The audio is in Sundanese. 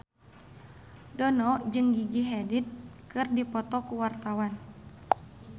Dono jeung Gigi Hadid keur dipoto ku wartawan